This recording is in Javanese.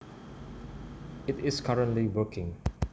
It is currently working